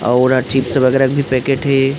और चिप्स वगेरा के भी पैकेट हे।